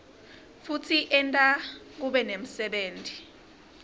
futsi enta kube nemsebenti